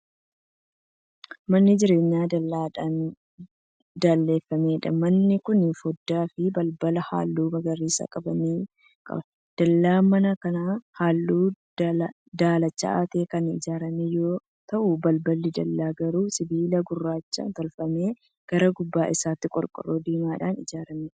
Mana jireenyaa dallaadhan dalleeffameedha. Manni Kun foddaa fi balbala halluu magariisa qaban ni qaba. Dallaan mana kanaa halluu daalacha ta'een Kan ijaarame yoo ta'u balballi dallaa garuu sibiila gurraachaa tolfame. Gara gubbaa isaattiin qorqoorroo diimadhaan hojjatame.